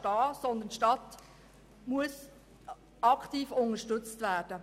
Vielmehr muss die Stadt aktiv unterstützt werden.